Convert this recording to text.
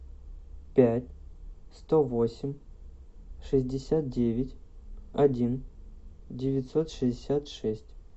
пять сто восемь шестьдесят девять один девятьсот шестьдесят шесть